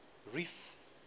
reef